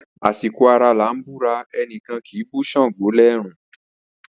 Asiko ara lan bura, enikan kibu sango lẹrun.